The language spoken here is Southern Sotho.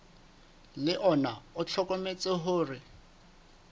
le ona o hlokometse hore